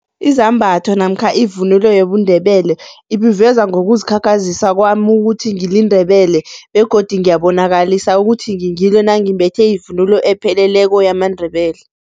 Izambatho namkha ivunulo yobuNdebele ibuveza ngokuzikhakhazisa kwami ukuthi ngiliNdebele begodu ngiyabonakalisa ukuthi ngingilo nangimbethe ivunulo epheleleko yamaNdebele.